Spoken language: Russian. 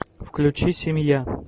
включи семья